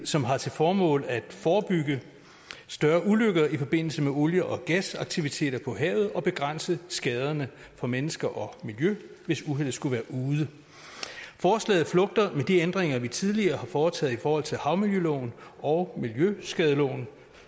som har til formål at forebygge større ulykker i forbindelse med olie og gasaktiviteter på havet og begrænse skaderne på mennesker og miljø hvis uheldet skulle være ude forslaget flugter med de ændringer vi tidligere har foretaget i forhold til havmiljøloven og miljøskadeloven